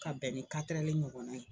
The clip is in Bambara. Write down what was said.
K'a bɛn ni katɛrɛli ɲɔgɔnna ye